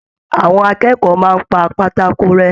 Àwọn akẹ́kọ̀ọ́ máa n pá pátákó rẹ.